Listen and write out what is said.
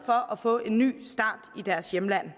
for at få en ny start i deres hjemland